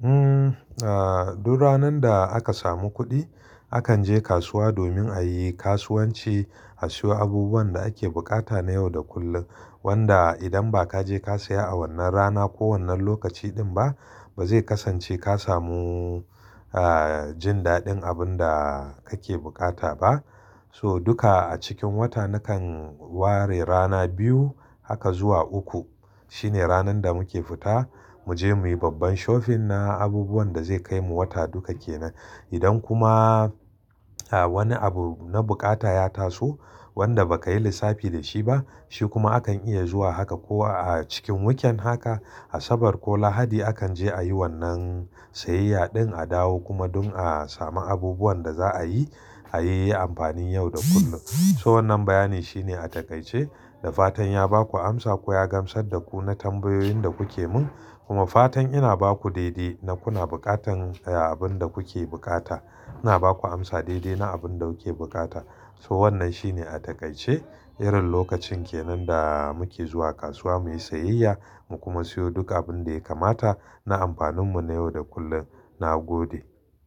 Hmm, ah duk ranar da aka samu kuɗi akan je kasuwa domin a yi kasuwanci a siyo abubuwan da ake bukata na yau da kullum. Wanda idan ba ka je ka saya a wannan rana ko wannan lokaci din ba, ba zai kasance ka samu a jin daɗin abin da kake bukata ba. So duka a cikin wata nakan ware rana biyu haka zuwa uku. Shine ranar da muke fita, mu je muyi babban shofin na abubuwan da zai kaimu wata duka kenan. Idan kuma a wani abu na bukata ya taso wanda ba ka yi lissafi da shi ba, shi kuma akan iya zuwa haka ko a cikin weekend haka, Asabar ko Lahadi akan je a yi wannan siyayya din a dawo kuma dun a samu abubuwan da za a yi, a yi amfani yau da kullum. So wannan bayani shine a takaice, da fatan ya baku amsa ko ya gamsar da ku na tambayoyin da kuke mun. Kuma fatan ina baku daidai na kuna bukatan abin da kuke bukata. Ina baku amsa daidai na abin da kuke bukata. So wannan shine a takaice, irin lokacin kenan da muke zuwa kasuwa muyi siyayya, mu kuma siyo duk abin da ya kamata na amfanin mu na yau da kullum. Na gode.